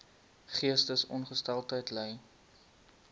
geestesongesteldheid ly